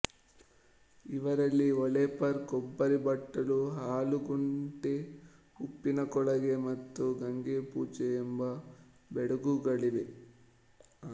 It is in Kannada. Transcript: ಇವರಲ್ಲಿ ಒಳ್ಳೆಪರ್ ಕೊಬ್ಬರಿಬಟ್ಟಲು ಹಾಲುಗುಂಟೆ ಉಪ್ಪಿನಕೋಳಗ ಮತ್ತು ಗಂಗೆಪೂಜಾ ಎಂಬ ಬೆಡಗುಗಳಿವೆ